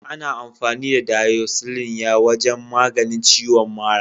Ana amfani da "Doxycycline " ya wajen maganin ciwon mara.